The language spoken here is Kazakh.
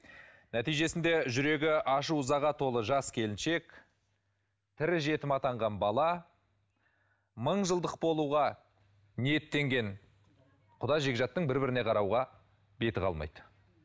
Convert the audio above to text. нәтижесінде жүрегі ашу ызаға толы жас келіншек тірі жетім атанған бала мың жылдық болуға ниеттенген құда жекжаттың бір біріне қарауға беті қалмайды